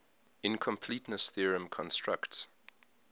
incompleteness theorem constructs